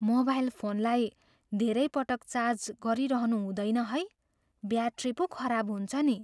Mobile फोनलाई धेरै पटक चार्ज गरिरहनु हुँदैन है। ब्याट्री पो खराब हुन्छ नि!